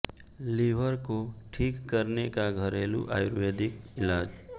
liver को ठीक करने का घरेलु आयुर्वेदिक इलाज